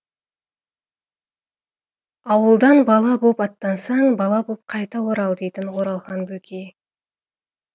ауылдан бала боп аттансаң бала боп қайта орал дейтін оралхан бөкей